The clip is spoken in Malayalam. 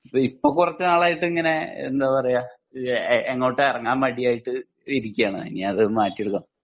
ഇപ്പൊ കുറച്ച് നാളായിട്ട് ഇങ്ങനെ എന്താ പറയെ ഏഹ് എങ്ങോട്ടും എറങ്ങാൻ മടിയായിട്ട് ഇരിക്കേണ് ഇനി അത് മാറ്റി എടുക്കണം